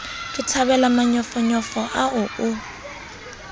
ke thabele manyofonyo ao o